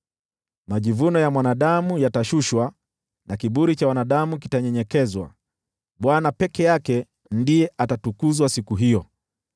Majivuno ya mwanadamu yatashushwa, na kiburi cha wanadamu kitanyenyekezwa, Bwana peke yake ndiye atatukuzwa siku hiyo,